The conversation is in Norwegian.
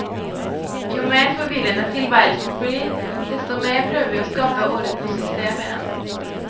Jo mer forvirrende tilværelsen blir, desto mer prøver vi å skape orden og system i den.